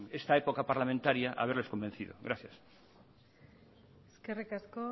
en esta época parlamentaria haberles convencido gracias eskerri asko